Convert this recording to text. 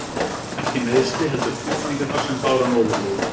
Ekki meiðsli, heldur tilfinningarnar sem báru hann ofurliði.